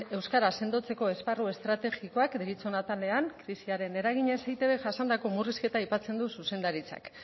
euskera sendotzeko esparru estrategikoak deritzon atalean krisiaren eraginez eitb jasandako murrizketa aipatzen du zuzendaritzak